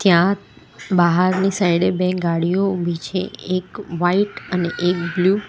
ક્યાં બાહારની સાઈડ એ બે ગાડીઓ ઉભી છે એક વાઈટ અને એક બ્લુ .